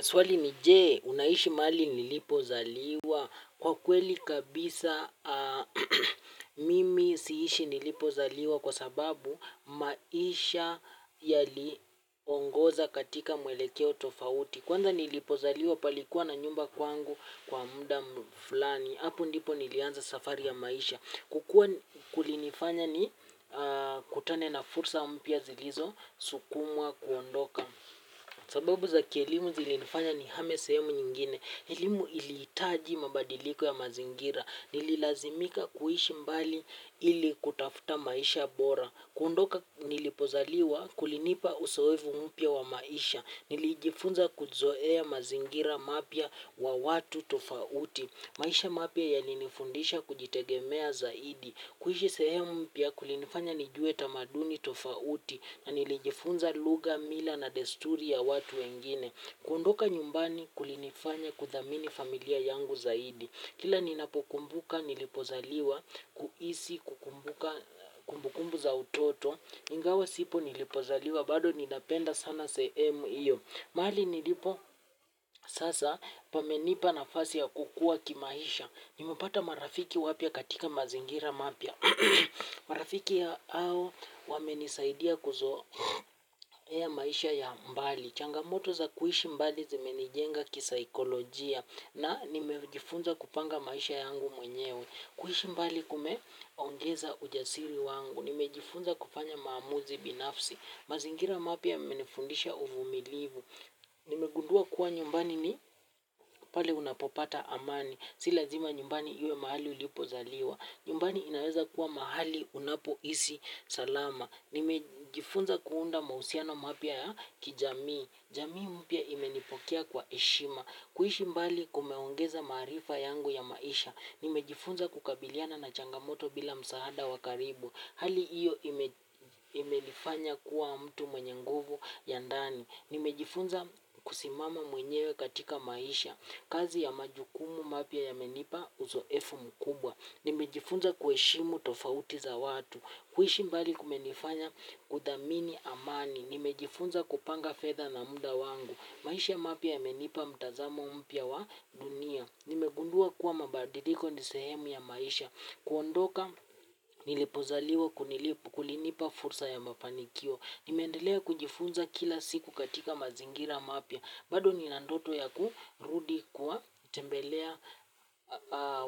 Swali ni je, unaishi mahali nilipo zaliwa. Kwa kweli kabisa mimi siishi nilipo zaliwa. Kwa sababu maisha yali ongoza katika mwelekeo tofauti. Kwanza nilipo zaliwa palikuwa na nyumba kwangu kwa muda mfulani. Apo ndipo nilianza safari ya maisha. Kukua kulinifanya ni kutane na fursa mpya zilizo sukumwa kuondoka. Sababu za kielimu zilinifanya ni hame sehemu nyingine, elimu ili hitaji mabadiliko ya mazingira, nililazimika kuishi mbali ili kutafuta maisha bora, kuondoka nilipozaliwa kulinipa usoevu mpya wa maisha, nilijifunza kuzoea mazingira mapya wa watu tofauti, maisha mapya yalinifundisha kujitegemea zaidi, kuishi sehemu mpya kulinifanya nijue tamaduni tofauti na nilijifunza lugha, mila na desturi ya watu wengine. Kuondoka nyumbani kulinifanya kuthamini familia yangu zaidi. Kila ninapokumbuka nilipozaliwa, kuisi kukumbuka kumbukumbu za utoto, ingawa sipo nilipozaliwa bado ninapenda sana se emu iyo. Mahali nilipo sasa pamenipa na fasi ya kukua kimaisha. Nimepata marafiki wapya katika mazingira mapya. Marafiki ya ao wame nisaidia kuzo ea maisha ya mbali. Changamoto za kuishi mbali zimenijenga kisaikolojia na nimejifunza kupanga maisha yangu mwenyewe. Kuishi mbali kumeongeza ujasiri wangu. Nimejifunza kufanya maamuzi binafsi. Mazingira mapya yamenifundisha uvumilivu. Nimegundua kuwa nyumbani ni pale unapopata amani. Silazima nyumbani iwe mahali ulipozaliwa. Nyumbani inaweza kuwa mahali unapo isi salama. Nimejifunza kuunda mausiano mapya ya kijamii. Jamii mpya imenipokea kwa eshima. Kuishi mbali kumeongeza maarifa yangu ya maisha. Nimejifunza kukabiliana na changamoto bila msaada wa karibu. Hali iyo imenifanya kuwa mtu mwenye nguvu ya ndani nimejifunza kusimama mwenyewe katika maisha kazi ya majukumu mapya yamenipa uzoefu mkubwa. Nimejifunza kueshimu tofauti za watu. Kuishi mbali kumenifanya kudhamini amani. Nimejifunza kupanga fedha na mda wangu. Maisha mapya ya menipa mtazamo mpya wa dunia. Nimegundua kuwa mabadiliko ni sehemu ya maisha. Kuondoka nilipozaliwa kunilip kulinipa fursa ya mafanikio. Nimeendelea kujifunza kila siku katika mazingira mapya. Bado ninandoto ya kurudi kuwa tembelea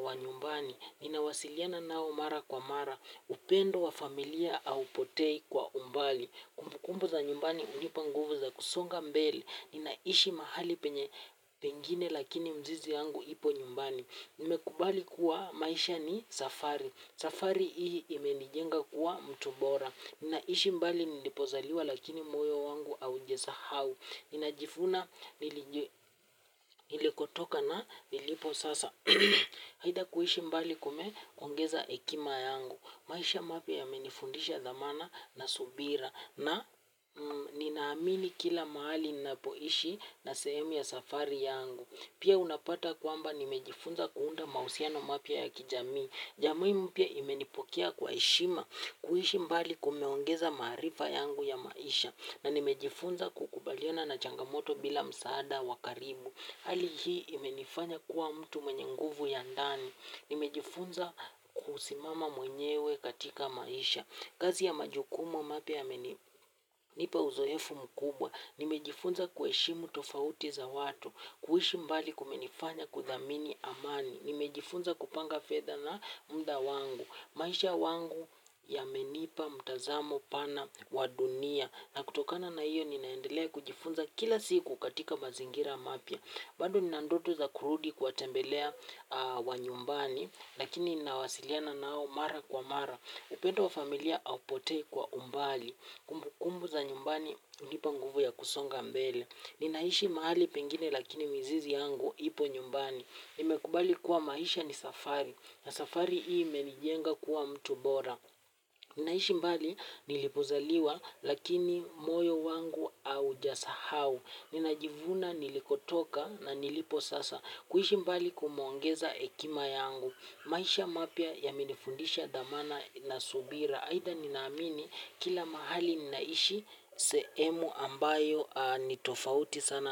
wanyumbani. Nina wasiliana nao mara kwa mara. Upendo wa familia aupotei kwa umbali. Kumbukumbu za nyumbani hunipa nguvu za kusonga mbele. Ninaishi mahali penye pengine lakini mzizi yangu ipo nyumbani. Nimekubali kuwa maisha ni safari. Safari ii imenijenga kuwa mtubora. Ninaishi mbali nilipozaliwa lakini moyo wangu au jesahau. Ninajifuna nilikotoka na nilipo sasa. Aidha kuishi mbali kumeongeza ekima yangu. Maisha mapya ya menifundisha dhamana na subira. Na ninaamini kila mahali ninapoishi na sehemu ya safari yangu. Pia unapata kwamba nimejifunza kuunda mahusiano mapya ya kijamii. Jamii mpya imenipokea kwa eshima. Kuishi mbali kumeongeza maarifa yangu ya maisha. Na nimejifunza kukubaliana na changamoto bila msaada wakaribu. Hali hii imenifanya kuwa mtu mwenye nguvu ya ndani. Nimejifunza kusimama mwenyewe katika maisha. Kazi ya majukumu mapya ya menipa uzoyefu mkubwa. Nimejifunza kueshimu tofauti za watu. Kuishi mbali kumenifanya kuthamini amani. Nimejifunza kupanga fedha na mda wangu. Maisha wangu ya menipa mtazamo pana wadunia. Na kutokana na hiyo ninaendelea kujifunza kila siku katika mazingira mapya. Bado ninandoto za kurudi kuwa tembelea wa nyumbani. Lakini ninawasiliana nao mara kwa mara. Upendo wa familia au potei kwa umbali. Kumbu kumbu za nyumbani unipa nguvu ya kusonga mbele. Ninaishi mahali pengine lakini mizizi yangu ipo nyumbani. Nimekubali kuwa maisha ni safari. Na safari hii imenijenga kuwa mtu bora. Ninaishi mbali nilipozaliwa lakini moyo wangu au jasahau. Ninajivuna nilikotoka na nilipo sasa. Kuishi mbali kumeongeza ekima yangu. Maisha mapya ya menifundisha dhamana na subira. Aidha ninaamini kila mahali ninaishi seemu ambayo nitofauti sana.